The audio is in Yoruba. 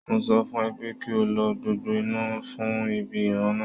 Mo sọ fún ẹ pé kí o lo gbogbo iná fún ibi ìran náà